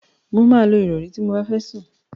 Mo máa lo ìrọ̀rí ti mo bá fẹ́ sùn.